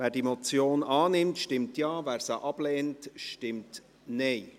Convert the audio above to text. Wer die Motion annimmt, stimmt Ja, wer diese ablehnt, stimmt Nein.